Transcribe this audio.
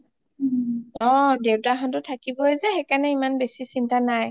অ দেউতা হতও থাকিব যে সেইকাৰণে হিমান বেচি চিন্টা নাই